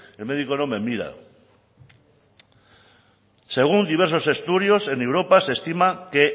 el médico no me mira según diversos estudios en europa se estima que